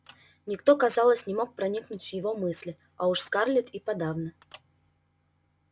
никто казалось не мог проникнуть в его мысли а уж скарлетт и подавно